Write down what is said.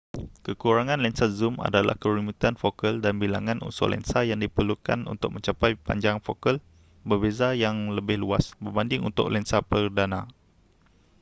kekurangan lensa zoom adalah kerumitan fokal dan bilangan unsur lensa yang diperlukan untuk mencapai panjang fokal berbeza yang lebih luas berbanding untuk lensa perdana